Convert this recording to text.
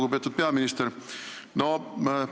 Lugupeetud peaminister!